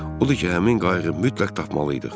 O da ki həmin qayığı mütləq tapmalıydıq.